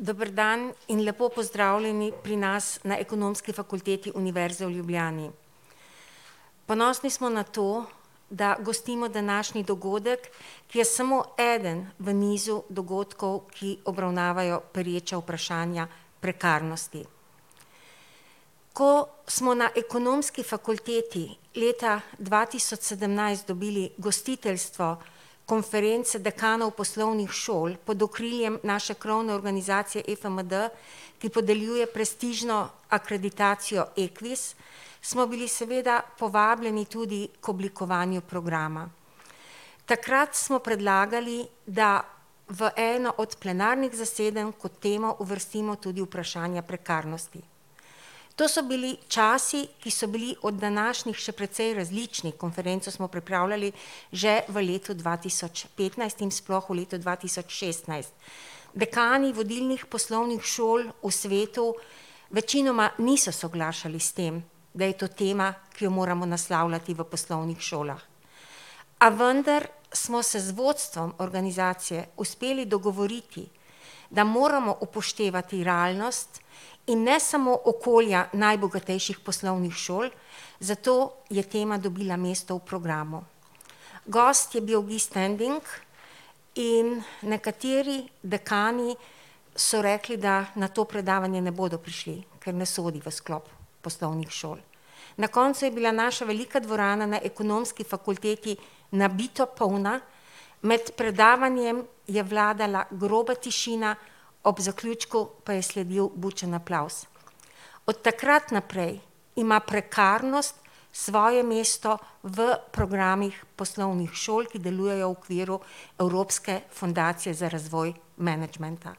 Dober dan in lepo pozdravljeni pri nas na Ekonomski fakulteti Univerze v Ljubljani. Ponosni smo na to, da gostimo današnji dogodek, ki je samo eden v nizu dogodkov, ki obravnavajo pereča vprašanja prekarnosti. Ko smo na Ekonomski fakulteti leta dva tisoč sedemnajst dobili gostiteljstvo konference dekanov poslovnih šol pod okriljem naše krovne organizacije EFMD, ki podeljuje prestižno akreditacijo Ekvis, smo bili seveda povabljeni tudi k oblikovanju programa. Takrat smo predlagali, da v eno od plenarnih zasedanj kot temo uvrstimo tudi vprašanja prekarnosti. To so bili časi, ki so bili od današnjih še precej različni, konferenco smo pripravljali že v letu dva tisoč petnajst in sploh v letu dva tisoč šestnajst. Dekani vodilnih poslovnih šol v svetu večinoma niso soglašali s tem, da je to tema, ki jo moramo naslavljati v poslovnih šolah. A vendar smo se z vodstvom organizacije uspeli dogovoriti, da moramo upoštevati realnost in ne samo okolja najbogatejših poslovnih šol, zato je tema dobila mesto v programu. Gost je bil Guy Standing in nekateri dekani so rekli, da na to predavanje ne bodo prišli, ker ne sodi v sklop poslovnih šol. Na koncu je bila naša velika dvorana na Ekonomski fakulteti nabito polna, med predavanjem je vladala groba tišina, ob zaključku pa je sledil bučen aplavz. Od takrat naprej ima prekarnost svoje mesto v programih poslovnih šol, ki delujejo v okviru Evropske fundacije za razvoj menedžmenta.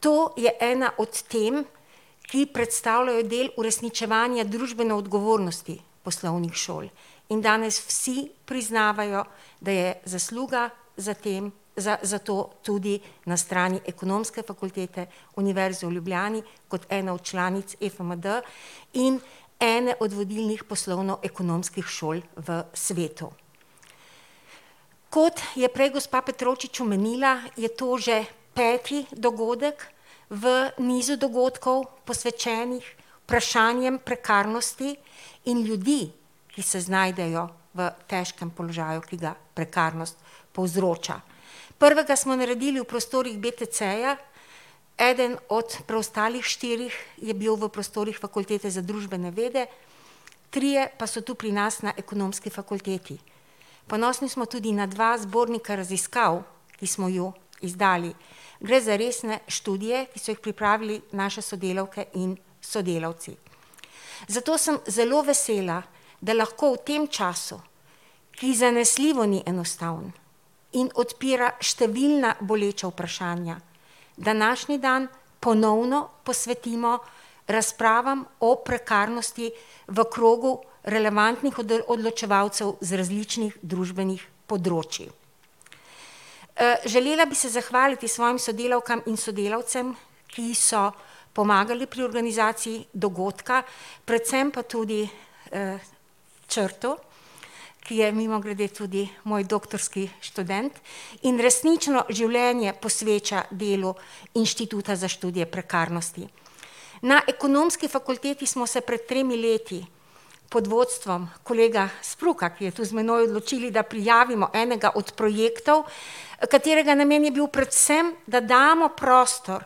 To je ena od tem, ki predstavljajo del uresničevanja družbene odgovornosti poslovnih šol. In danes vsi priznavajo, da je zasluga za tem, za, za to tudi na strani Ekonomske fakultete Univerze v Ljubljani kot ene od članic EFMD in ene od vodilnih poslovno-ekonomskih šol v svetu. Kot je prej gospa Petrovčič omenila, je to že peti dogodek v nizu dogodkov, posvečenih vprašanjem prekarnosti in ljudi, ki se znajdejo v težkem položaju, ki ga prekarnost povzroča. Prvega smo naredili v prostorih BTC-ja, eden od preostalih štirih je bil v prostorih Fakultete za družbene vede, trije pa so tu pri nas na Ekonomski fakulteti. Ponosni smo tudi na dva zbornika raziskav, ki smo ju izdali. Gre za resne študije, ki so jih pripravili naše sodelavke in sodelavci. Zato sem zelo vesela, da lahko v tem času, ki zanesljivo ni enostaven in odpira številna boleča vprašanja, današnji dan ponovno posvetimo razpravam o prekarnosti v krogu relevantnih odločevalcev z različnih družbenih področij. želela bi se zahvaliti svojim sodelavkam in sodelavcem, ki so pomagali pri organizaciji dogodka, predvsem pa tudi, Črtu, ki je mimogrede tudi moj doktorski študent in resnično življenje posveča delu Inštituta za študije prekarnosti. Na Ekonomski fakulteti smo se pred tremi leti pod vodstvom kolega Spruka, ki je tu z menoj, odločili, da prijavimo enega od projektov, katerega namen je bil predvsem, da damo prostor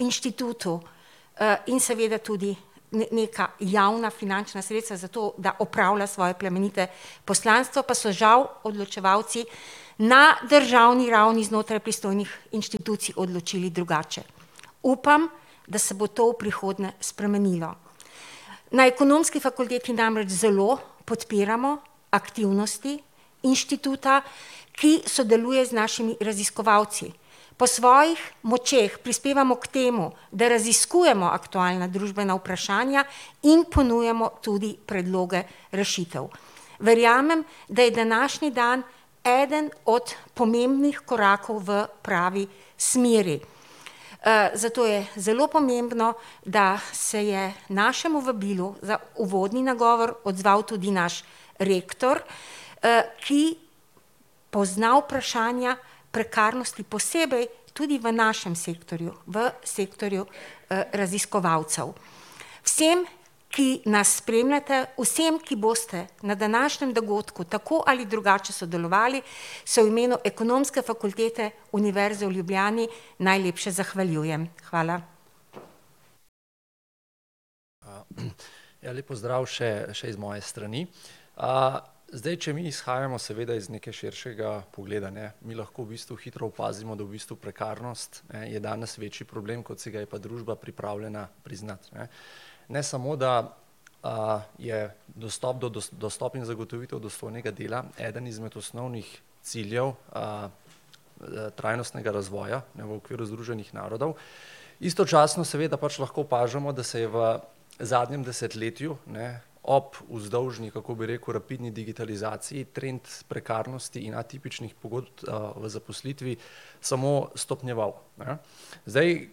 Inštitutu, in seveda tudi neka javna finančna sredstva za to, da opravlja svoje plemenite poslanstvo, pa so žal odločevalci na državni ravni znotraj pristojnih inštitucij odločili drugače. Upam, da se bo to v prihodnje spremenilo. Na Ekonomski fakulteti namreč zelo podpiramo aktivnosti Inštituta, ki sodeluje z našimi raziskovalci. Po svojih močeh prispevamo k temu, da raziskujemo aktualna družbena vprašanja in ponujamo tudi predloge rešitev. Verjamem, da je današnji dan eden od pomembnih korakov v pravi smeri. zato je zelo pomembno, da se je našemu vabilu za uvodni nagovor odzval tudi naš rektor, ki pozna vprašanja prekarnosti, posebej tudi v našem sektorju, v sektorju, raziskovalcev. Vsem, ki nas spremljate, vsem, ki boste na današnjem dogodku tako ali drugače sodelovali, se v imenu Ekonomske fakultete Univerze v Ljubljani najlepše zahvaljujem. Hvala. ja, lep pozdrav še, še iz moje strani. zdaj, če mi izhajamo seveda iz nekega širšega pogleda, ne, mi lahko v bistvu hitro opazimo, da v bistvu prekarnost, ne, je danes večji problem, kot si ga je pa družba pripravljena priznati, ne. Ne samo, da, je dostop do, dostop in zagotovitev dostojnega dela eden izmed osnovnih ciljev, trajnostnega razvoja, v okviru Združenih narodov, istočasno seveda pač lahko opažamo, da se je v zadnjem desetletju, ne, ob vzdolžni, kako bi rekel, rapidni digitalizaciji, trend prekarnosti in, atipičnih pogodb o zaposlitvi samo stopnjeval, ne. Zdaj,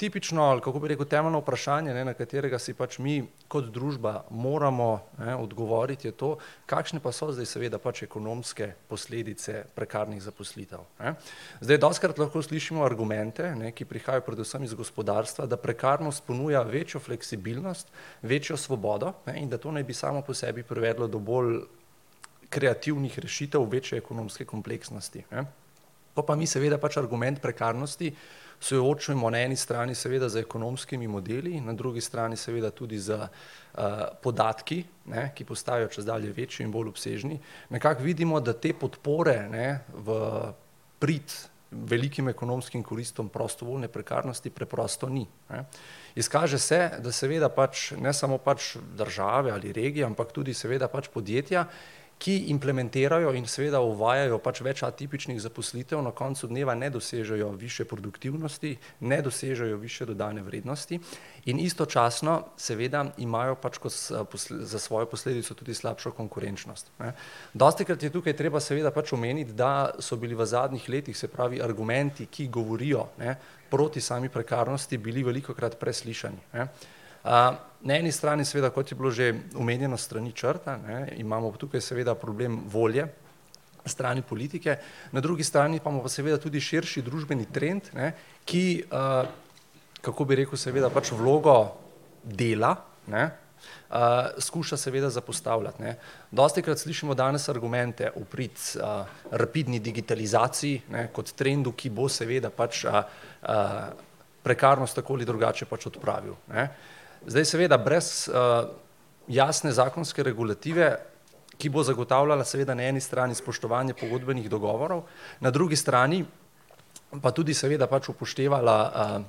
tipično, ali kako bi rekel, temeljno vprašanje, ne, na katerega si pač mi kot družba moramo, ne, odgovoriti, je to, kakšne pa so zdaj seveda pač ekonomske posledice prekarnih zaposlitev, ne. Zdaj dostikrat lahko slišimo argumente, ne, ki prihajajo predvsem iz gospodarstva, da prekarnost ponuja večjo fleksibilnost, večjo svobodo, ne, in da to naj bi samo po sebi privedlo do bolj kreativnih rešitev, večje ekonomske kompleksnosti, ne. Ko pa mi seveda pač argument prekarnosti soočimo na eni strani seveda z ekonomskimi modeli in na drugi strani seveda tudi s, podatki, ne, ki postajajo čedalje večji in bolj obsežni, nekako vidimo, da te podpore, ne, v prid velikim ekonomskim koristim prostovoljne prekarnosti preprosto ni, ne. Izkaže se, da seveda pač, ne samo pač države ali regije, ampak tudi seveda pač podjetja, ki implementirajo in seveda uvajajo pač več atipičnih zaposlitev, na koncu dneva ne dosežejo višje produktivnosti, ne dosežejo višje dodane vrednosti in istočasno seveda imajo pač ko za svojo posledico tudi slabšo konkurenčnost, ne. Dostikrat je tukaj treba seveda pač omeniti, da so bili v zadnjih letih, se pravi, argumenti, ki govorijo, ne, proti sami prekarnosti, bili velikokrat preslišani, ne. na eni strani seveda, kot je bilo že omenjeno s strani Črta, ne, imamo pa tukaj seveda problem volje na strani politike, na drugi strani pa imamo seveda tudi širši družbeni trend, ne, ki, kako bi rekel, seveda, pač vlogo dela, ne, skuša seveda zapostavljati, ne. Dostikrat slišimo danes argumente v prid, rapidni digitalizaciji, ne, kot trendu, ki bo seveda pač, prekarnost tako ali drugače pač odpravil, ne. Zdaj, seveda brez, jasne zakonske regulative, ki bo zagotavljala seveda na eni strani spoštovanje pogodbenih dogovorov, na drugi strani pa tudi seveda pač upoštevala,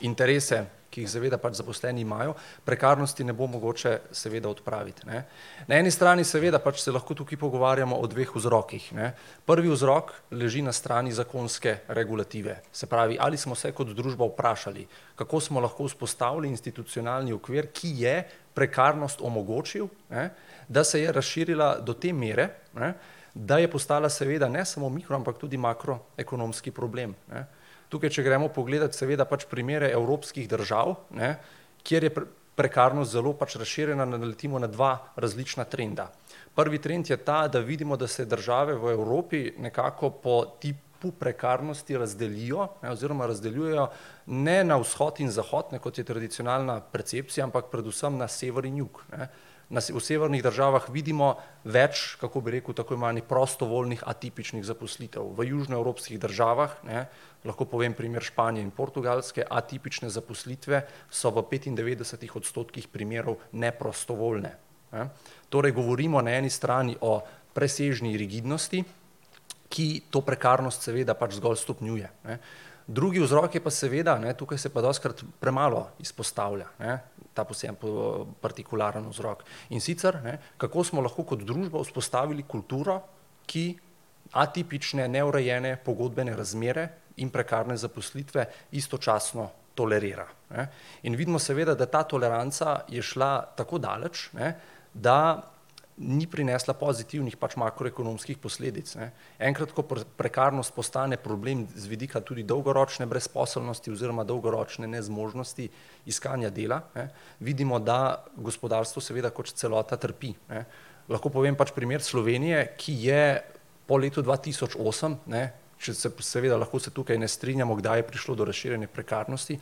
interese, ki jih seveda pač zaposleni imajo, prekarnosti ne bo mogoče seveda odpraviti, ne. Na eni strani, seveda pač se lahko tukaj pogovarjamo o dveh vzrokih, ne. Prvi vzrok leži na strani zakonske regulative. Se pravi, ali smo se kot družba vprašali, kako smo lahko vzpostavili institucionalni okvir, ki je prekarnost omogočil, ne, da se je razširila do te mere, ne, da je postala seveda ne samo mikro-, ampak tudi makroekonomski problem, ne. Tukaj če gremo pogledat seveda pač primere evropskih držav, ne, kjer je prekarnost zelo pač razširjena, naletimo na dva različna trenda. Prvi trend je ta, da vidimo, da se države v Evropi nekako po tipu prekarnosti razdelijo, ne, oziroma razdeljujejo ne na vzhod in zahod, ne, kot je tradicionalna percepcija, ampak predvsem na sever in jug, ne. Na v severnih državah vidimo več, kako bi rekel, tako imenovanih prostovoljnih atipičnih zaposlitev, v južnoevropskih državah, ne, lahko povem primer Španije in Portugalske, atipične zaposlitve so v petindevetdesetih odstotkih primerov neprostovoljne, ne. Torej govorimo na eni strani o presežni rigidnosti, ki to prekarnost seveda pač zgolj stopnjuje, ne. Drugi vzrok je pa seveda, ne, tukaj se pa dostikrat premalo izpostavlja, ne, ta partikularni vzrok. In sicer, ne, kako smo lahko kot družba vzpostavili kulturo, ki atipične neurejene pogodbene razmere in prekarne zaposlitve istočasno tolerira, ne. In vidimo seveda, da ta toleranca je šla tako daleč, ne, da ni prinesla pozitivnih pač makroekonomskih posledic, ne. Enkrat ko prekarnost postane problem z vidika tudi dolgoročne brezposelnosti oziroma dolgoročne nezmožnosti iskanja dela, ne, vidimo, da gospodarstvo seveda kot celota trpi, ne. Lahko povem pač primer Slovenije, ki je po letu dva tisoč osem, ne, še seveda lahko se tukaj ne strinjamo, kdaj je prišlo do razširjanja prekarnosti,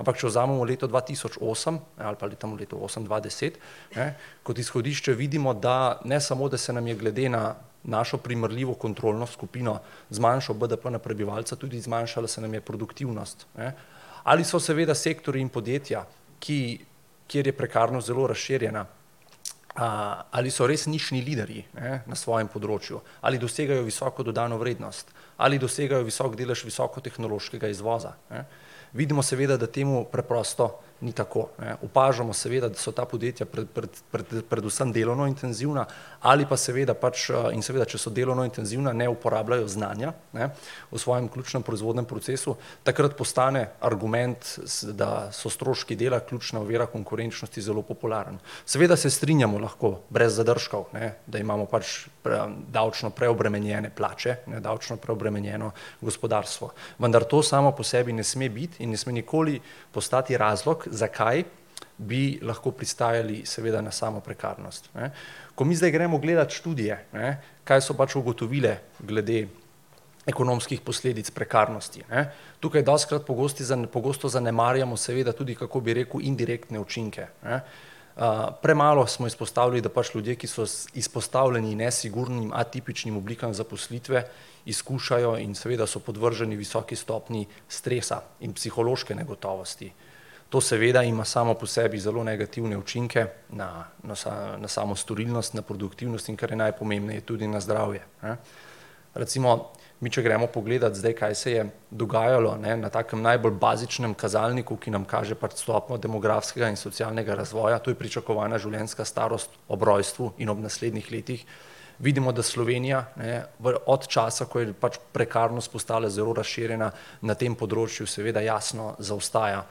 ampak če vzamemo leto dva tisoč osem, ne, ali pa tam od leta osem do dva deset, ne, kot izhodišče, vidimo, da ne smo, da se nam je glede na našo primerljivo kontrolno skupino zmanjšal BDP na prebivalca, tudi zmanjšala se nam je produktivnost, ne. Ali so seveda sektorji in podjetja, ki, kjer je prekarnost zelo razširjena, ali so res nišni liderji, ne, na svojem področju? Ali dosegajo visoko dodano vrednost? Ali dosegajo visok delež visokotehnološkega izvoza, ne? Vidimo seveda, da temu preprosto ni tako, ne. Opažamo seveda, da so ta podjetja predvsem delovno intenzivna ali pa seveda pač, in seveda, če so delovno intenzivna, ne uporabljajo znanja, ne, v svojem ključnem proizvodnem procesu. Takrat postane argument, da so stroški dela ključna ovira konkurenčnosti, zelo popularen. Seveda se strinjamo lahko brez zadržkov, ne, da imamo pač davčno preobremenjene plače, ne, davčno preobremenjeno gospodarstvo. Vendar to samo po sebi ne sme biti in ne sme nikoli postati razlog, zakaj bi lahko pristajali seveda na samo prekarnost, ne. Ko mi zdaj gremo gledat študije, ne, kaj so pač ugotovile glede ekonomskih posledic prekarnosti, ne. Tukaj dostikrat pogosti pogosto zanemarjamo seveda tudi, kako bi rekel, indirektne učinke, ne. premalo smo izpostavili, da pač ljudje, ki so izpostavljeni nesigurnim, atipičnim oblikam zaposlitve, izkušajo in seveda so podvrženi visoki stopnji stresa in psihološke negotovosti. To seveda ima samo po sebi zelo negativne učinke na na samo storilnost, na produktivnost, in kar je najpomembneje, tudi na zdravje, ne. Recimo mi če gremo pogledat zdaj, kaj se je dogajalo, ne, na takem najbolj bazičnem kazalniku, ki nam kaže pač stopnjo demografskega in socialnega razvoja, to je pričakovana življenjska starost ob rojstvu in ob naslednjih letih, vidimo, da Slovenija, ne, od časa, ko je pač prekarnost postala zelo razširjena, na tem področju seveda jasno zaostaja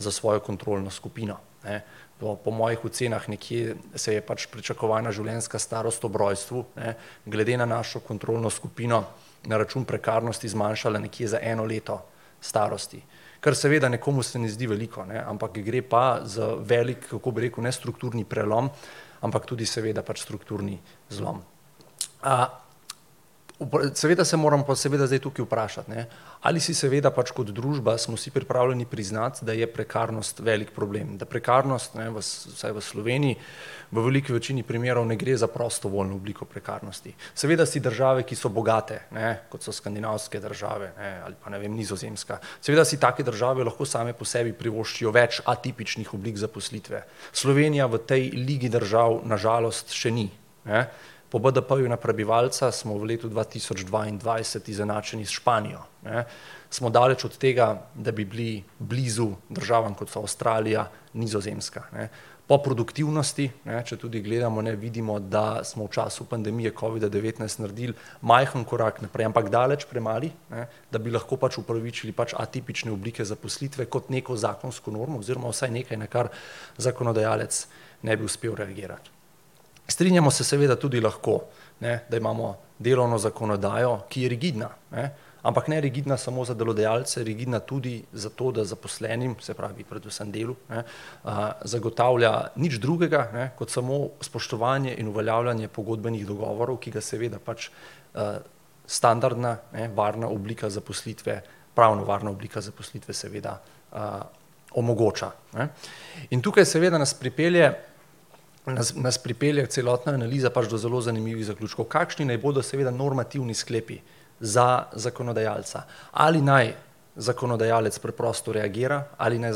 za svojo kontrolno skupino, ne. Po po mojih ocenah nekje se je pač pričakovana življenjska starost ob rojstvu, ne, glede na našo kontrolno skupino na račun prekarnosti zmanjšala nekje za eno leto starosti. Kar seveda nekomu se ne zdi veliko, ne, ampak gre pa za veliko, kako bi rekel, ne strukturni prelom, ampak tudi seveda pač strukturni zlom. seveda se moram seveda zdaj tukaj vprašati, ne, ali si seveda pač kot družba smo si pripravljeni priznati, da je prekarnost velik problem, da prekarnost, ne v vsaj v Sloveniji, v veliki večini primerov ne gre za prostovoljno obliko prekarnosti. Seveda si države, ki so bogate, ne, kot so skandinavske države, ne, ali pa, ne vem, Nizozemska, seveda si take države lahko same po sebi privoščijo več atipičnih oblik zaposlitve. Slovenija v tej ligi držav na žalost še ni, ne. Po BDP-ju na prebivalca smo v letu dva tisoč dvaindvajset izenačeni s Španijo, ne. Smo daleč od tega, da bi bili blizu državam, kot so Avstralija, Nizozemska, ne. Po produktivnosti, ne, če tudi gledamo, ne, vidimo, da smo v času pandemije covida-devetnajst naredili majhen korak naprej, ampak daleč premali, ne, da bi lahko pač upravičili pač atipične oblike zaposlitve kot neko zakonsko normo oziroma vsaj nekaj, na kar zakonodajalec ne bi uspel reagirati. Strinjamo se seveda tudi lahko, ne, da imamo delovno zakonodajo, ki je rigidna, ne. Ampak ne rigidna samo za delodajalce, rigidna tudi za to, da zaposlenim, se pravi predvsem delu, ne, zagotavlja nič drugega, ne, kot samo spoštovanje in uveljavljanje pogodbenih dogovorov, ki ga seveda pač, standardna, ne, varna oblika zaposlitve, pravno varna oblika zaposlitve, seveda, omogoča, ne. In tukaj seveda nas pripelje nas pripelje celotna analiza pač do zelo zanimivih zaključkov. Kakšni naj bodo seveda normativni sklepi za zakonodajalca? Ali naj zakonodajalec preprosto reagira ali naj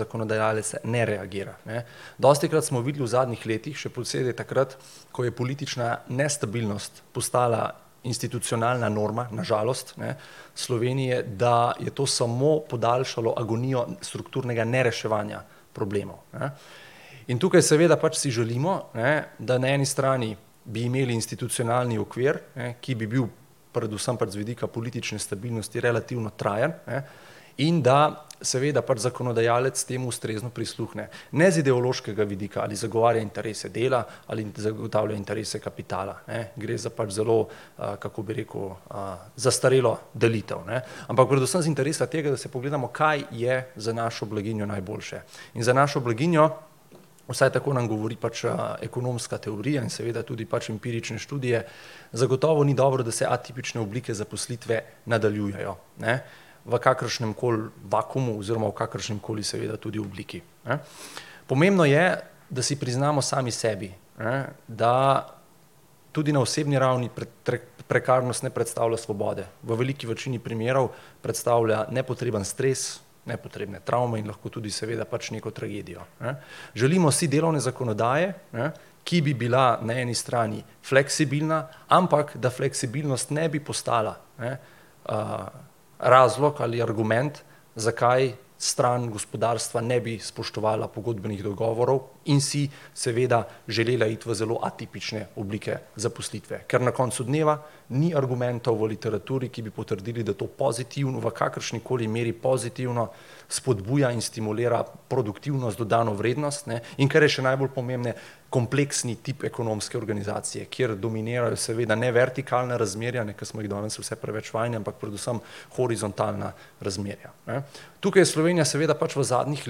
zakonodajalec ne reagira, ne? Dostikrat smo videli v zadnjih letih, še posebej takrat, ko je politična nestabilnost postala institucionalna norma, na žalost, ne, Slovenije, da je to samo podaljšalo agonijo strukturnega nereševanja problemov, ne. In tukaj seveda pač si želimo, ne, da n eni strani bi imeli institucionalni okvir, ne, ki bi bil predvsem pač z vidika politične stabilnosti relativno trajen, ne, in da seveda pač zakonodajalec temu ustrezno prisluhne. Ne z ideološkega vidika. Ali zagovarja interese dela ali zagotavlja interese kapitala, ne. Gre za pač zelo, kako bi rekel, zastarelo delitev, ne. Ampak predvsem z interesa tega, da si pogledamo, kaj je za našo blaginjo najboljše. In za našo blaginjo, vsaj tako nam govori pač, ekonomska teorija in seveda tudi pač empirične študije, zagotovo ni dobro, da se atipične oblike zaposlitve nadaljujejo, ne, v kakršnemkoli vakuumu oziroma v kakršnikoli seveda tudi obliki, ne. Pomembno je, da si priznamo sami sebi, ne, da, tudi na osebni ravni prekarnost ne predstavlja svobode, v veliki večini primerov predstavlja nepotreben stres, nepotrebne travme in lahko tudi seveda pač neko tragedijo, ne. Želimo si delovne zakonodaje, ne, ki bi bila na eni strani fleksibilna, ampak da fleksibilnost ne bi postala, ne, razlog ali argument, zakaj stran gospodarstva ne bi spoštovala pogodbenih dogovorov in si seveda želela iti v zelo atipične oblike zaposlitve. Ker na koncu dneva ni argumentov v literaturi, ki bi potrdili, da to v kakršnikoli meri pozitivno spodbuja in stimulira produktivnost, dodano vrednost, ne, in kar je še najbolj pomembneje, kompleksni tip ekonomske organizacije, kjer dominirajo seveda ne vertikalna razmerja, ne, ki smo jih danes vse preveč vajeni, ampak predvsem horizontalna razmerja, ne. Tukaj je Slovenija seveda pač v zadnjih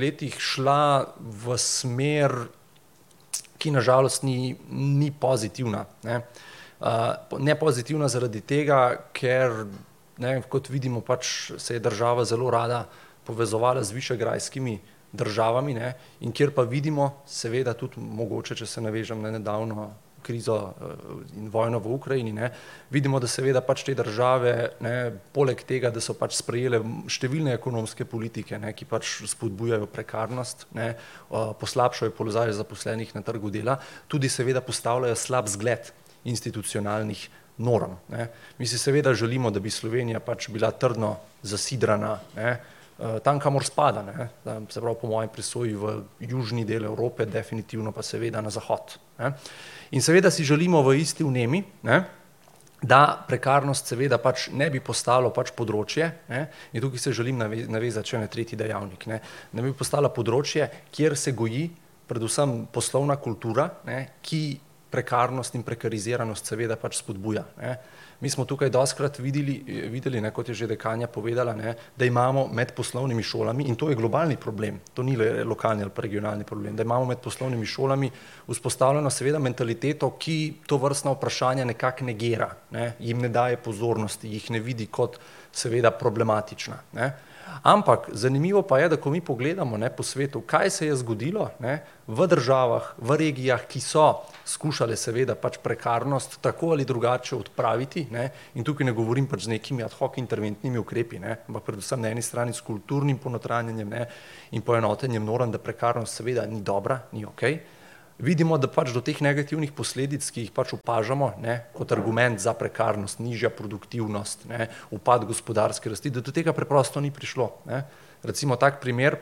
letih šla v smer, ki na žalost ni, ni pozitivna, ne. ne pozitivna zaradi tega, ker, ne, kot vidimo, pač se je država zelo rada povezovala z višegrajskimi državami, ne, in kjer pa vidimo, seveda tudi, mogoče če se navežem na nedavno krizo, vojno v Ukrajini, ne, vidimo, da seveda pač te države, ne, poleg tega, da so pač sprejele številne ekonomske politike, ne, ki pač spodbujajo prekarnost, ne, poslabšajo položaj zaposlenih na trgu dela, tudi seveda postavljajo slab zgled institucionalnih norm, ne. Mi si seveda želimo, da bi Slovenija pač bila trdno zasidrana, ne, tam, kamor spada, ne, se pravi po moji presoji v južni del Evrope, definitivno pa seveda na zahod, ne. In seveda si želimo v isti vnemi, ne, da prekarnost seveda pač ne bi postalo pač področje, ne, in tukaj se želim navezati še na tretji dejavnik, ne, da bi postala področje, kjer se goji predvsem poslovna kultura, ne, ki prekarnost in prekariziranost seveda pač spodbuja, ne. Mi smo tukaj dostikrat vidili, videli, ne, kot je že dekanja povedala, ne, da imamo med poslovnimi šolami, in to je globalni problem, to ni lokalni ali pa regionalni problem, da imamo med poslovnimi šolami vzpostavljeno seveda mentaliteto, ki tovrstna vprašanja nekako negira, ne, jim ne daje pozornosti, jih ne vidi kot seveda problematična, ne. Ampak zanimivo pa je, da ko mi pogledamo, ne, po svetu, kaj se je zgodilo, ne, v državah, v regijah, ki so skušale seveda pač prekarnost tako ali drugače odpraviti, ne, in tukaj ne govorim pač z nekimi ad hoc interventnimi ukrepi, ne, ampak predvsem na eni strani s kulturnim ponotranjenjem, ne, in poenotenjem norm, da prekarnost seveda ni dobra, ni okej, vidimo, da pač do teh negativnih posledic, ki jih pač opažamo, ne, kot argument za prekarnost, nižja produktivnost, ne, upad gospodarske rsti, da do tega preprosto ni prišlo, ne. Recimo tak primer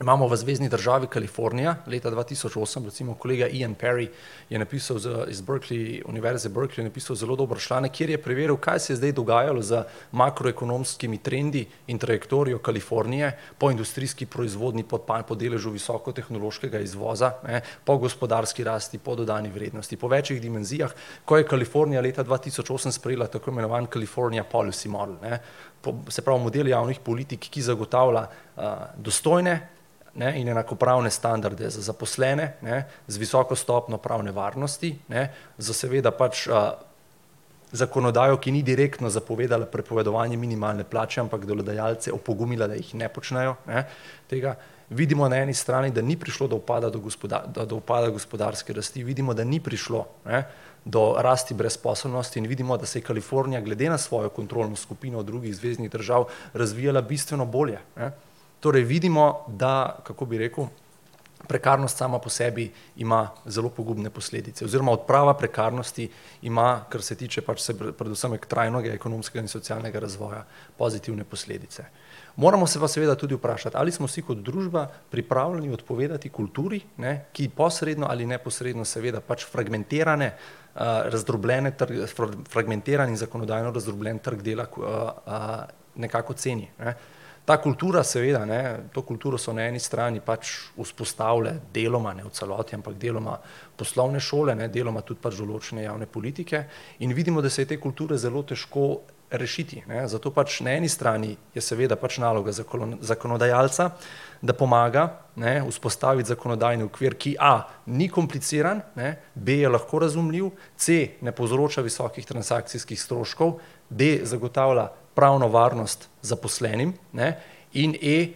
imamo v zvezni državi Kalifornija leta dva tisoč osem recimo. Kolega Ian Perry je napisal z iz Berkeley, univerze Berkeley je napisal zelo dober članek, kjer je preveril, kaj se je zdaj dogajalo z makroekonomskimi trendi in trajektorijem Kalifornije po industrijski proizvodnji, po deležu visokotehnološkega izvoza, ne, po gospodarski rasti, po dodani vrednosti, po večih dimenzijah, ko je Kalifornija leta dva tisoč osem sprejela tako imenovan Kalifornija policy model, ne. se pravi model javnih politik, ki zagotavlja, dostojne, ne, in enakopravne standarde za zaposlene, ne, z visoko stopnjo pravne varnosti, ne, s seveda pač, zakonodajo, ki ni direktno zapovedala prepovedovanje minimalne plače, ampak delodajalce opogumila, da jih ne počnejo, ne, tega. Vidimo na eni strani, da ni prišlo do upada da do upada gospodarske rasti, vidimo, da ni prišlo, ne, do rasti brezposelnosti in vidimo, da se je Kalifornija glede na svojo kontrolno skupino drugih zveznih držav razvijala bistveno bolje, ne. Torej vidimo, da, kako bi rekel, prekarnost sama po sebi ima zelo pogubne posledice oziroma odprava prekarnosti ima, kar se tiče pač predvsem trajnega ekonomskega in socialnega razvoja, pozitivne posledice. Moramo se pa seveda tudi vprašati, ali smo si kot družba pripravljeni odpovedati kulturi, ne, ki posredno ali neposredno seveda pač fragmentirane, razdrobljene fragmentiran in zakonodajno razdrobljen trg dela nekako ceni, ne. Ta kultura seveda, ne, to kulturo so na eni strani pač vzpostavile deloma, ne v celoti, ampak deloma poslovne šole, ne, deloma tudi pač določne javne politike. In vidimo, da se je te kulture zelo težko rešiti, ne. Zato pač na eni strani je seveda pač naloga zakonodajalca, da pomaga, ne, vzpostaviti zakonodajni okvir, ki a, ni kompliciran, ne, b, je lahko razumljiv, c, ne povzroča visokih transakcijskih stroškov, da, zagotavlja pravno varnost zaposlenim, ne, in e,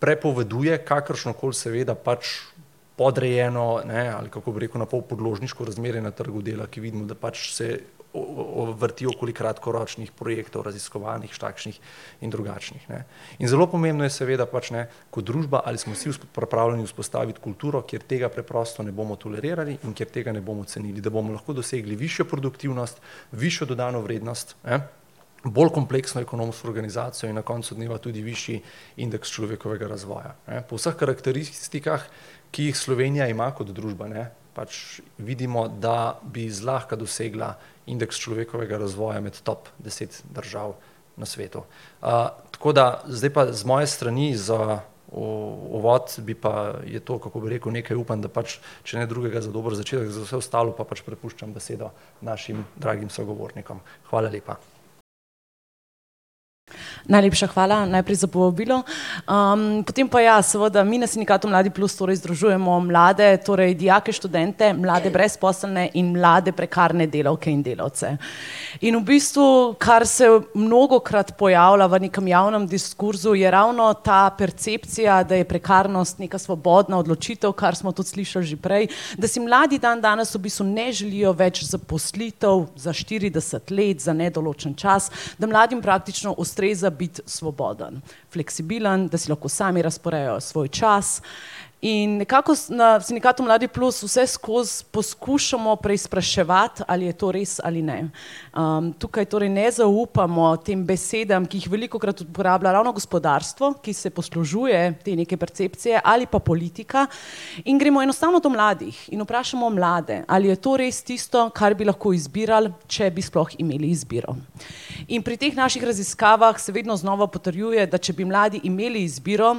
prepoveduje kakršnokoli seveda pač podrejeno, ne, ali kako bi rekel, na pol podložniško razmerje na trgu dela, ki vidimo, da pač se vrti okoli kratkoročnih projektov, raziskovalnih, takšnih in drugačnih, ne. In zelo pomembno je seveda pač, ne, kot družba, ali smo vsi pripravljeni vzpostaviti kulturo, kjer tega preprosto ne bomo tolerirali in kjer tega ne bomo cenili, da bomo lahko dosegli višjo produktivnost, višjo dodano vrednost, ne, bolj kompleksno ekonomsko organizacijo in na koncu dneva tudi višji indeks človekovega razvoja, ne. Po vseh karakteristikah, ki jih Slovenija ima kot družba, ne, pač vidimo, da bi zlahka dosegla indeks človekovega razvoja med top deset držav na svetu. tako da, zdaj pa z moje strani za uvod bi pa, je to, kako bi rekel, nekaj, upam, da pač, če ne drugega za dober začetek, za vse ostalo pa pač prepuščam besedo našim dragim sogovornikom. Hvala lepa. Najlepša hvala najprej za povabilo. potem pa ja, seveda, mi na sindikatu Mladi plus torej združujemo mlade, torej, dijake, študente, mlade brezposelne in mlade prekarne delavke in delavce. In v bistvu kar se mnogokrat pojavlja v nekem javnem diskurzu, je ravno ta percepcija, da je prekarnost neka svobodna odločitev, kar smo tudi slišali že prej, da si mladi dandanes v bistvu ne želijo več zaposlitev za štirideset let, za nedoločen čas, da mladim praktično ustreza biti svoboden, fleksibilen, da si lahko sami razporejajo svoj čas. In nekako na sindikatu Mladi plus vseskozi poskušamo preizpraševati, ali je to res ali ne. tukaj torej ne zaupamo tem besedam, ki jih velikokrat uporablja ravno gospodarstvo, ki se poslužuje te neke percepcije, ali pa politika, in gremo enostavno do mladih in vprašamo mlade, ali je to res tisto, kar bi lahko izbirali, če bi sploh imeli izbiro. In pri teh naših raziskavah se vedno znova potrjuje, da če bi mladi imeli izbiro,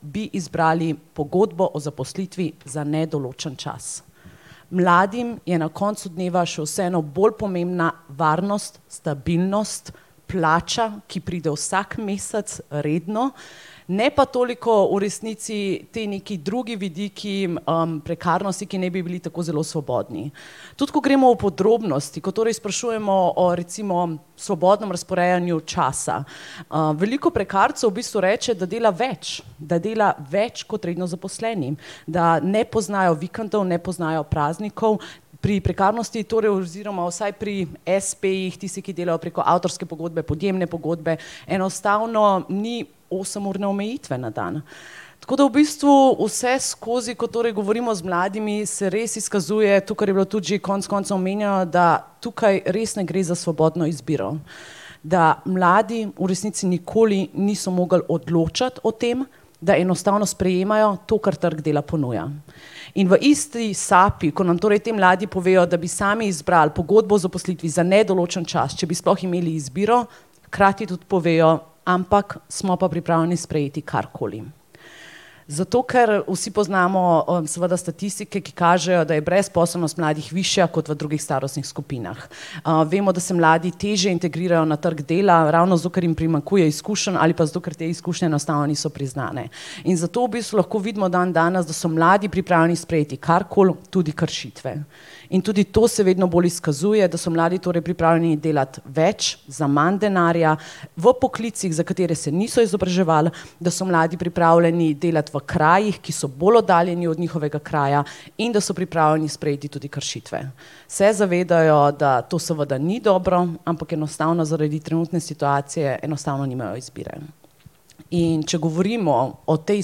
bi izbrali pogodbo o zaposlitvi za nedoločen čas. Mladim je na koncu dneva še vseeno bolj pomembna varnost, stabilnost, plača, ki pride vsak mesec redno, ne pa toliko v resnici ti neki drugi vidiki, prekarnosti, ki naj bi bili tako zelo svobodni. Tudi ko gremo v podrobnosti, ko torej sprašujemo o recimo svobodnem razporejanju časa, veliko prekarcev v bistvu reče, da dela več, da dela več kot redno zaposleni, da ne poznajo vikendov, ne poznajo praznikov. Pri prekarnosti torej oziroma vsaj pri espejih, tisti, ki delajo preko avtorske pogodbe, podjemne pogodbe, enostavno ni osemurne omejitve na dan. Tako da v bistvu vseskozi, ko torej govorimo z mladimi, se res izkazuje to, kar je bilo tudi že konec koncev omenjeno, da tukaj res ne gre za svobodno izbiro. Da mladi v resnici nikoli niso mogli odločati o tem, da enostavno sprejemajo to, kar trg dela ponuja. In v isti sapi, ko nam torej ti mladi povejo, da bi sami izbrali pogodbo o zaposlitvi za nedoločen čas, če bi sploh imeli izbiro, hkrati tudi povejo, ampak smo pa pripravljeni sprejeti karkoli. Zato ker vsi poznamo, seveda statistike, ki kažejo, da je brezposelnost mladih višja kot v drugih starostnih skupinah. vemo, da se mladi težje integrirajo na trgu dela, ravno zato ker jim primanjkuje izkušenj ali pa zato ker te izkušnje enostavno niso priznane. In zato v bistvu lahko vidimo dandanes, da so mladi pripravljeni sprejeti karkoli, tudi kršitve. In tudi to se vedno bolj izkazuje, da so mladi torej pripravljeni delati več za manj denarja, v poklicih, za katere se niso izobraževali, da so mladi pripravljeni delati v krajih, ki so bolj oddaljeni od njihovega kraja in da so pripravljeni sprejeti tudi kršitve. Se zavedajo, da to seveda ni dobro, ampak enostavno zaradi trenutne situacije enostavno nimajo izbire. In če govorimo o tej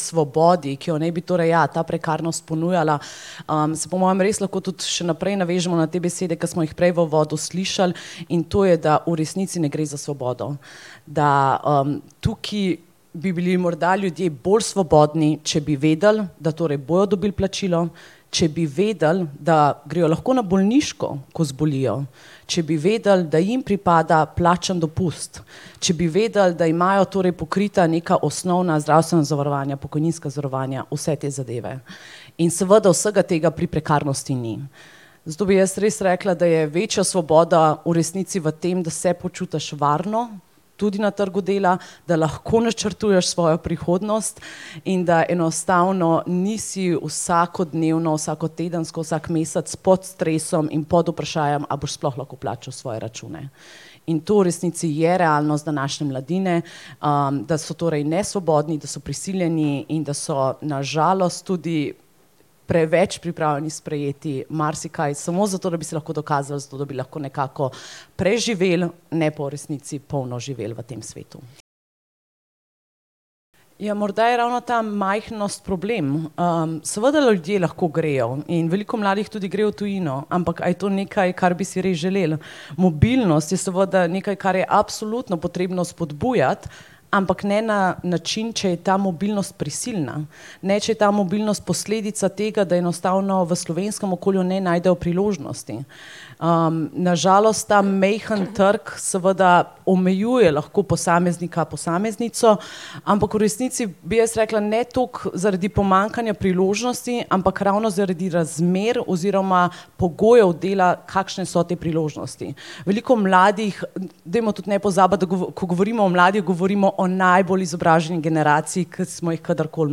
svobodi, ki jo naj bi torej, ja, ta prekarnost ponujala, se po mojem res lahko tudi še naprej navežemo na te besede, ki smo jih prej v uvodu slišali, in to je, da v resnici ne gre za svobodo. Da, tukaj bi bili morda ljudje bolj svobodni, če bi vedeli, da torej bojo dobili plačilo, če bi vedeli, da grejo lahko na bolniško, ko zbolijo, če bi vedeli, da jim pripada plačan dopust, če bi vedeli, da imajo torej pokrita neka osnovna zdravstvena zavarovanja, pokojninska zavarovanja, vse te zadeve. In seveda vsega tega pri prekarnosti ni. Zato bi jaz res rekla, da je večja svoboda v resnici v tem, da se počutiš varno, tudi na trgu dela, da lahko načrtuješ svojo prihodnost in da enostavno nisi vsakodnevno, vsakotedensko, vsak mesec pod stresom in pod vprašajem, a boš sploh lahko plačal svoje račune. In to v resnici je realnost današnje mladine, da so torej nesvobodni, da so prisiljeni in da so na žalost tudi preveč pripravljeni sprejeti marsikaj smo zato, da bi se lahko dokazali, zato da bi lahko nekako preživeli, ne pa v resnici polno živeli v tem svetu. Ja, morda je ravno ta majhnost problem. seveda ljudje lahko grejo in veliko mladih tudi gre v tujino. Ampak a je to nekaj, kar bi si res želeli? Mobilnost je seveda nekaj, kar je absolutno potrebno spodbujati, ampak ne na način, če je ta mobilnost prisilna. Ne, če je ta mobilnost posledica tega, da enostavno v slovenskem okolju ne najdejo priložnosti. na žalost ta majhni trg seveda omejuje lahko posameznika, posameznico, ampak v resnici bi jaz rekla, ne toliko zaradi pomanjkanja priložnosti, ampak ravno zaradi razmer oziroma pogojev dela, kakšne so te priložnosti. Veliko mladih, dajmo tudi ne pozabiti, da ko govorimo o mladih, govorimo o najbolj izobraženi generaciji, kar smo jih kadarkoli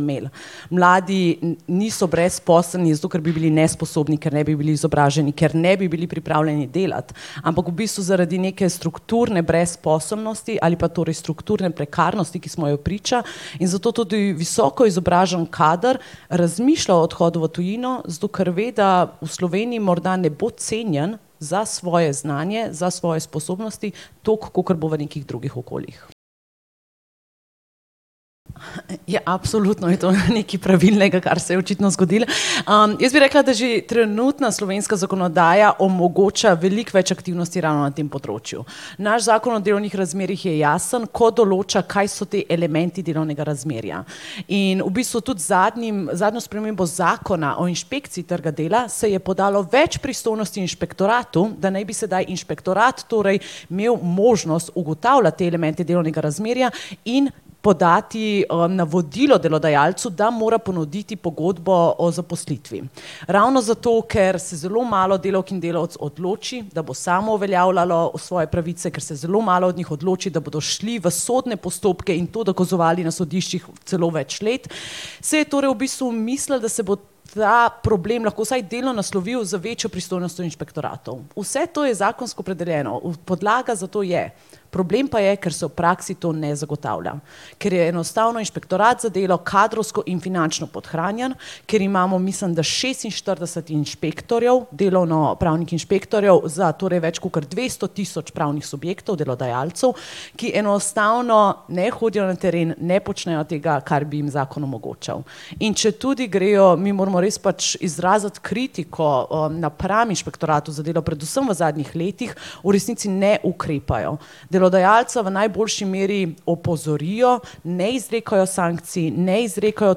imeli, mladi niso brezposelni zato, ker bi bili nesposobni, kar ne bi bili izobraženi, ker ne bi bili pripravljeni delati, ampak v bistvu zaradi neke strukturne brezposelnosti ali pa torej strukturne prekarnosti, ki smo ji priča, in zato tudi visoko izobražen kader razmišlja o odhodu v tujino, zato ker ve, da v Sloveniji morda ne bo cenjen za svoje znanje, za svoje sposobnosti toliko, kolikor bo v nekih drugih okoljih. Ja, absolutno je tole nekaj pravilnega, kar se je očitno zgodilo. jaz bi rekla, da že trenutna slovenska zakonodaja omogoča veliko več aktivnosti ravno na tem področju. Naš Zakon o delovnih razmerjih je jasen, ko določa, kaj so te elementi delovnega razmerja. In v bistvu tudi z zadnjim, zadnjo spremembo Zakona o inšpekciji trga dela se je podalo več pristojnosti inšpektoratu, da naj bi sedaj inšpektorat torej imeli možnost ugotavljati te elemente delovnega razmerja in podati, navodilo delodajalcu, da mora ponuditi pogodbo o zaposlitvi. Ravno zato, ker se zelo malo delavk in delavcev odloči, da bo samo uveljavljalo svoje pravice, ker se zelo malo od njih odloči, da bodo šli v sodne postopke in to dokazovali na sodiščih celo več let, se je torej v bistvu mislili, da se bo ta problem lahko vsaj delno naslovil z večjo pristojnostjo inšpektoratov. Vse to je zakonsko opredeljeno, podlaga za to je. Problem pa je, kar se v praksi to ne zagotavlja. Kar je enostavno inšpektorat za delo kadrovsko in finančno podhranjen, ker imamo mislim, da šestinštirideset inšpektorjev, delovnopravnih inšpektorjev za torej več kakor dvesto tisoč pravnih subjektov, delodajalcev, ki enostavno ne hodijo na teren, ne počnejo tega, kar bi jim zakon omogočal. In četudi grejo, mi moramo res pač izraziti kritiko, napram inšpektoratu za delo, predvsem v zadnjih letih, v resnici ne ukrepajo. Delodajalca v najboljši meri opozorijo, ne izrekajo sankcij, ne izrekajo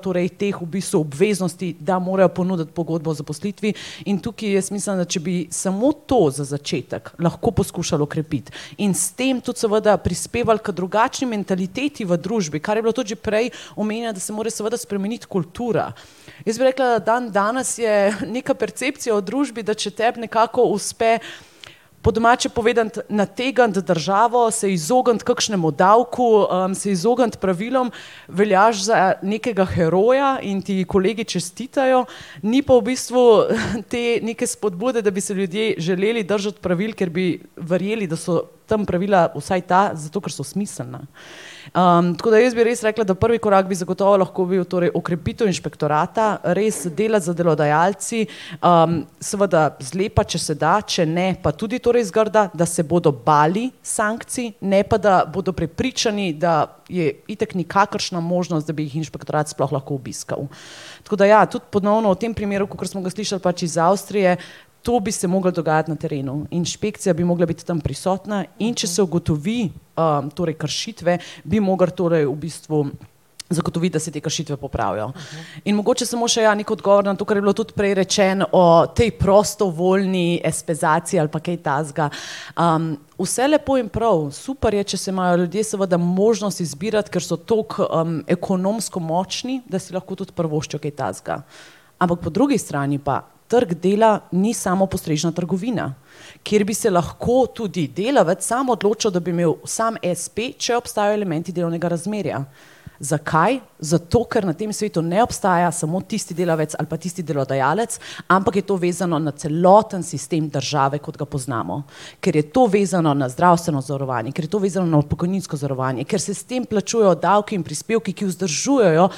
torej teh v bistvu obveznosti, da morajo ponuditi pogodbo o zaposlitvi. In tukaj jaz mislim, da če bi samo to za začetek lahko poskušali okrepiti, in s tem tudi seveda prispevali k drugačni mentaliteti v družbi, kar je bilo tudi že prej omenjeno, da se more seveda spremeniti kultura. Jaz bi rekla, da dandanes je neka percepcija v družbi, da če tebi nekako uspe po domače povedano nategniti državo, se izogniti kakšnemu davku, se izogniti pravilom, veljaš za nekega heroja in ti kolegi čestitajo. Ni pa v bistvu, te neke spodbude, da bi se ljudje želeli držati pravil, ker bi verjeli, da so tam pravila, vsaj ta, zato ker so smiselna. tako da jaz bi res rekla, da prvi korak bi zagotovo lahko bil torej okrepitev inšpektorata, res dela z delodajalci, seveda zlepa, če se da, če ne, pa tudi torej zgrda, da se bodo bali sankcij, ne pa da bodo prepričani, da je itak nikakršna možnost, da bi jih inšpektorat sploh lahko obiskali. Tako da ja, tudi ponovno v tem primeru, kakor smo ga slišali pač iz Avstrije, to bi se mogli dogajati na terenu. Inšpekcija bi mogla biti tam prisotna. In če se ugotovi, torej kršitve, bi mogli torej v bistvu zagotoviti, da se te kršitve popravijo. In mogoče smo še, ja, neki odgovor na to, kar je bilo tudi prej rečeno o tej prostovoljni espeizaciji ali pa kaj takega. vse lepo in prav, super je, če se imajo ljudje seveda možnost izbirati, ker so tako, ekonomsko močni, da si lahko tudi privoščijo kaj takega. Ampak po drugi strani pa trg dela ni samopostrežna trgovina, kjer bi se lahko tudi delavec sam odločal, da bi imeli samo espe, če obstajajo elementi delovnega razmerja. Zakaj? Zato ker na tem svetu ne obstaja samo tisti delavec ali pa tisti delodajalec, ampak je to vezano na celoten sistem države, kot ga poznamo. Kar je to vezano na zdravstveno zavarovanje, kar je to vezano na pokojninsko zavarovanje, ker se s tem plačujejo davki in prispevki, ki vzdržujejo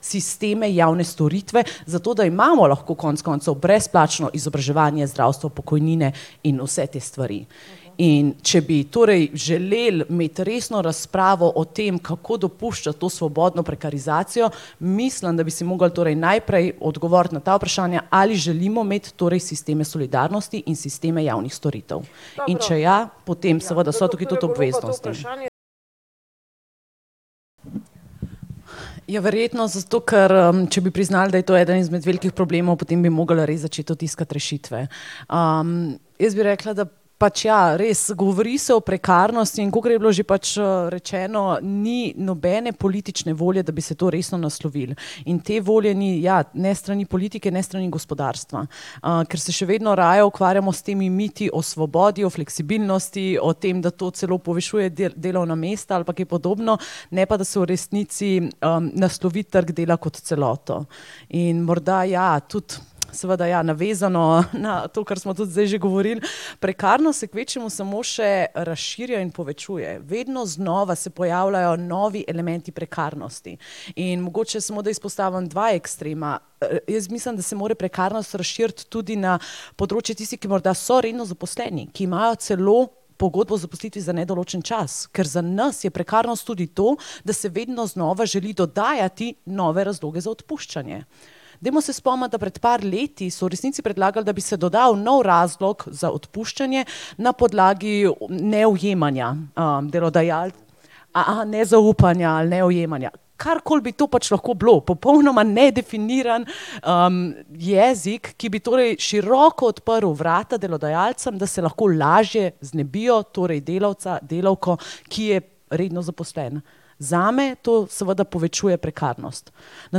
sisteme javne storitve, zato da imamo lahko konec koncev brezplačno izobraževanje, zdravstvo, pokojnine in vse te stvari. In če bi torej želeli imeti resno razpravo o tem, kako dopuščati to svobodno prekarizacijo, mislim, da bi si mogli torej najprej odgovoriti na ta vprašanja, ali želimo imeti torej sisteme solidarnosti in sisteme javnih storitev. In če ja, potem seveda so tukaj tudi obveznosti. Ja, verjetno zato, ker, če bi priznali, da je to eden izmed velikih problemov, potem bi mogli res začeti tudi iskati rešitve. jaz bi rekla, da pač ja, res, govori se o prekarnosti in kakor je bilo že pač, rečeno, ni nobene politične volje, da bi se to resno naslovilo. In te volje ni, ja, ne s strani politike ne s strani gospodarstva, ker se še vedno raje ukvarjamo s temi miti o svobodi, o fleksibilnosti, o tem, da to celo povišuje delovna mesta ali pa kaj podobno, ne pa da se v resnici, naslovi trg dela kot celoto. In morda ja, tudi seveda ja, navezano na to, kar smo tudi zdaj že govorili, prekarnost se kvečjemu samo še razširja in povečuje. Vedno znova se pojavljajo novi elementi prekarnosti. In mogoče smo, da izpostavim dva ekstrema, jaz mislim, da se mora prekarnost razširiti tudi na področje tistih, ki morda so redno zaposleni, ki imajo celo pogodbo o zaposlitvi za nedoločen čas. Ker za nas je prekarnost tudi to, da se vedno znova želi dodajati nove razloge za odpuščanje. Dajmo se spomniti, da pred par leti so v resnici predlagali, da bi se dodal nov razlog za odpuščanje na podlagi neujemanja. nezaupanja ali neujemanja. Karkoli bi to pač lahko bilo. Popolnoma nedefiniran, jezik, ki bi torej široko odprli vrata delodajalcem, da se lahko lažje znebijo, torej delavca, delavko, ki je redno zaposlen. Zame to seveda povečuje prekarnost. Na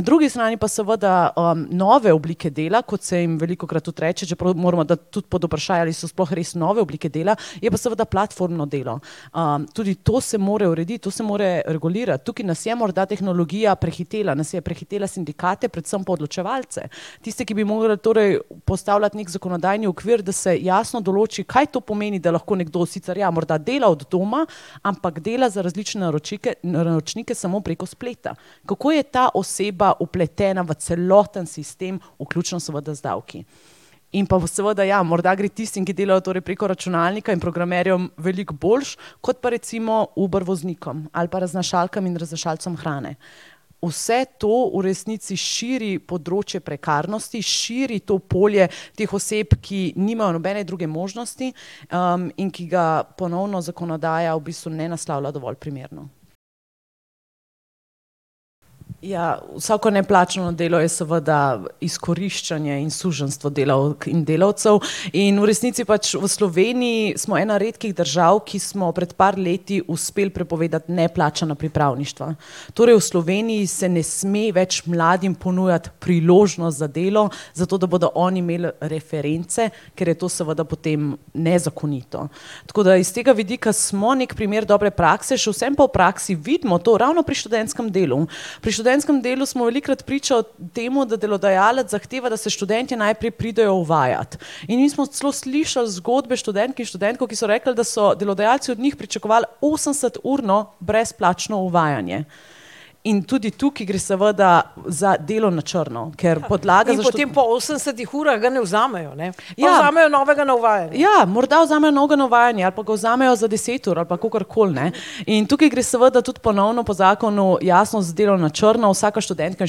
drugi strani pa seveda, nove oblike dela, kot se jim velikokrat tudi reče, čeprav moramo dati tudi pod vprašaj, ali so sploh res nove oblike dela, je pa seveda platformno delo. tudi to se mora urediti, to se mora regulirati. Tukaj nas je morda tehnologija prehitela, nas je prehitela sindikate, predvsem pa odločevalce. Tiste, ki bi mogli torej postavljati neki zakonodajni okvir, da se jasno določi, kaj to pomeni, da lahko nekdo sicer ja, morda dela od doma, ampak dela za različne naročnike samo preko spleta. Kako je ta oseba vpletena v celoten sistem, vključno seveda z davki? In pa seveda, ja, morda gre tistim, ki delajo torej preko računalnika in programerjem veliko boljše kot pa recimo Uber voznikom ali pa raznašalkam in raznašalcem hrane. Vse to v resnici širi področje prekarnosti, širi to polje teh oseb, ki nimajo nobene druge možnosti, in ki ga ponovno zakonodaja v bistvu ne naslavlja dovolj primerno. Ja, vsako neplačano delo je seveda izkoriščanje in suženjstvo delavk in delavcev. In v resnici pač v Sloveniji smo ena redkih držav, ki smo pred par leti uspeli prepovedati neplačana pripravništva. Torej v Sloveniji se ne sme več mladim ponujati priložnost za delo zato, da bodo oni imeli reference, ker je to seveda potem nezakonito. Tako da iz tega vidika smo neki primer dobre prakse, še vseeno pa v praksi vidimo to, ravno pri študentskem delu. Pri študentskem delu smo velikokrat priča temu, da delodajalec zahteva, da se študentje najprej pridejo uvajat. In mi smo celo slišali zgodbe študentk in študentov, ki so rekli, da so delodajalci od njih pričakovali osemdeseturno brezplačno uvajanje. In tudi tukaj gre seveda za delo na črno, ker podlaga za ... Ja. Ja. Morda vzamejo novega na uvajanje ali pa ga vzamejo za deset ur ali pa kakorkoli, ne. In tukaj gre seveda tudi ponovno po zakonu jasno za delo na črno. Vsaka študentka in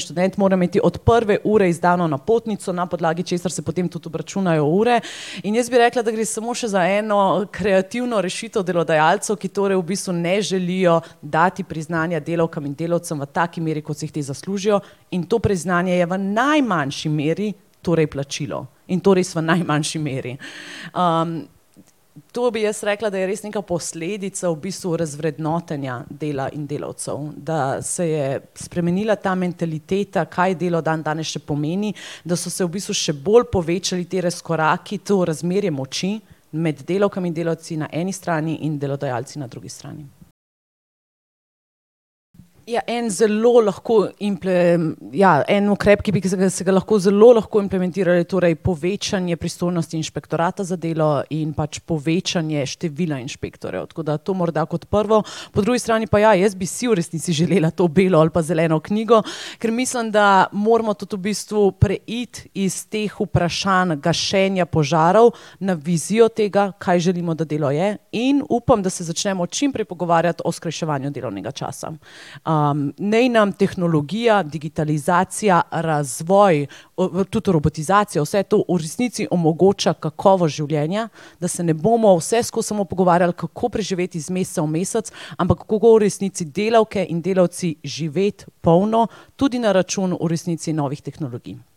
študent mora imeti od prve ure izdano napotnico, na podlagi česar se potem tudi obračunajo ure. In jaz bi rekla, da gre smo še za eno kreativno rešitev delodajalcev, ki torej v bistvu ne želijo dati priznanja delavkam in delavcem v taki meri, kot si jih ti zaslužijo. In to priznanje je v najmanjši meri torej plačilo. In to res v najmanjši meri. to bi jaz rekla, da je res neka posledica v bistvu razvrednotenja dela in delavcev, da se je spremenila ta mentaliteta, kaj delo dandanes še pomeni, da so se v bistvu še bolj povečali te razkoraki, to razmerje moči med delavkami in delavci na eni strani in delodajalci na drugi strani. Ja, en zelo lahko ja, en ukrep, ki bi ga, se ga lahko zelo lahko implementiralo, je torej povečanje pristojnosti inšpektorata za delo in pač povečanje števila inšpektorjev. Tako da to morda kot prvo. Po drugi strani pa ja, jaz bi si v resnici želela to belo ali pa zeleno knjigo, ker mislim, da moramo tudi v bistvu preiti iz teh vprašanj gašenja požarov na vizijo tega, kaj želimo, da delo je, in upam, da se začnemo čim prej pogovarjati o skrajševanju delovnega časa. naj nam tehnologija, digitalizacija, razvoj, tudi robotizacija, vse to, v resnici omogoča kakovost življenja, da se ne bomo vseskozi samo pogovarjali, kako preživeti iz meseca v mesec, ampak kako v resnici delavke in delavci živeti polno, tudi na račun v resnici novih tehnologij.